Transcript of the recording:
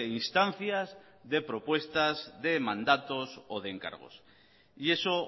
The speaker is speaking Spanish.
instancias de propuestas de mandatos o de encargos y eso